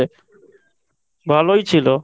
ভালোই ছিল।